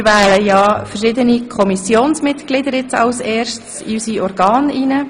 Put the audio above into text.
Wir wählen als erstes verschiedene Kommissionsmitglieder in unsere Organe.